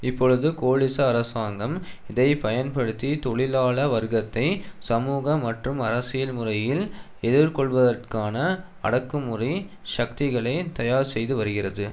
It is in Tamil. இப்பொழுது கோலிச அரசாங்கம் இதை பயன்படுத்தி தொழிலாள வர்க்கத்தை சமூக மற்றும் அரசியல் முறையில் எதிர்கொள்வதற்கான அடக்குமுறை சக்திகளை தயார் செய்து வருகிறது